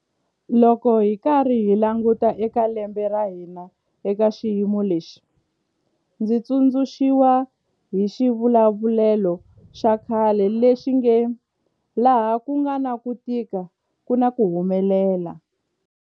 Loko hi karhi hi languta eka lembe ra hina eka xiyimo lexi, ndzi tsundzu xiwa hi xivulavulelo xa khale lexi nge 'laha ku nga na ku tika ku na ku humelela'.